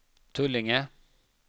Tullinge